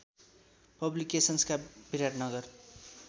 पब्लिकेसन्सका Biratnagar